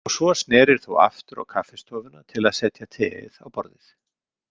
Og svo snerir þú aftur á kaffistofuna til að setja teið á borðið?